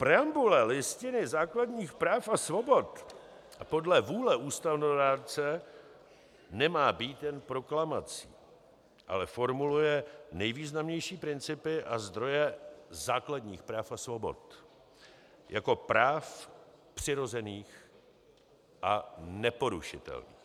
Preambule Listiny základních práv a svobod podle vůle ústavodárce nemá být jen proklamací, ale formuluje nejvýznamnější principy a zdroje základních práv a svobod jako práv přirozených a neporušitelných.